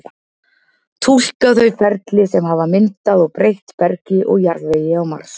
túlka þau ferli sem hafa myndað og breytt bergi og jarðvegi á mars